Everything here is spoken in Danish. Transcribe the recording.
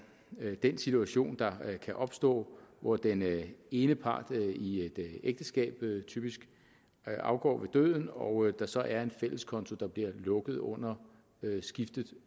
den situation der kan opstå hvor den ene part i et ægteskab typisk afgår ved døden og der så er en fælles konto der bliver lukket under skiftet